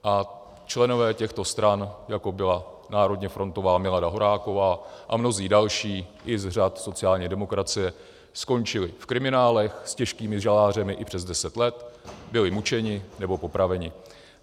A členové těchto stran, jako byla národně frontová Milada Horáková a mnozí další i z řad sociální demokracie skončili v kriminálech s těžkými žaláři i přes 10 let, byli mučeni nebo popraveni.